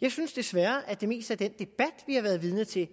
jeg synes desværre at det meste af den debat vi har været vidne til